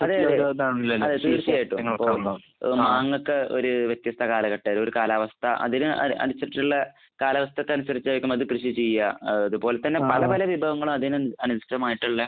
അതെ. അതെ. തീർച്ചയായിട്ടും. മാങ്ങയൊക്കെ ഒരു വ്യത്യസ്ത കാലഘട്ട ഒരു കാലാവസ്ഥ അതിന് അനുസരിചുള്ള കാലാവസ്ഥക്ക് അനുസരിച്ചായിരിക്കും അത് കൃഷി ചെയ്യുക. അതുപോലെ തന്നെ പല പല വിഭവങ്ങളും അതിന് അനുസൃതമായിട്ടുള്ള